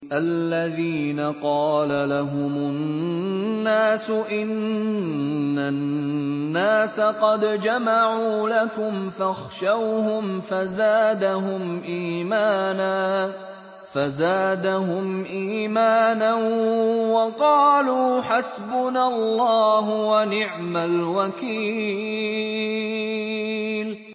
الَّذِينَ قَالَ لَهُمُ النَّاسُ إِنَّ النَّاسَ قَدْ جَمَعُوا لَكُمْ فَاخْشَوْهُمْ فَزَادَهُمْ إِيمَانًا وَقَالُوا حَسْبُنَا اللَّهُ وَنِعْمَ الْوَكِيلُ